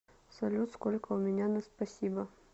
салют сколько у меня на спасибо